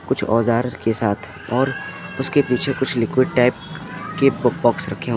कुछ औज़ार के साथ और उसके पीछे कुछ लिक्विड टाइप के पो पाॅक्स रखे हु --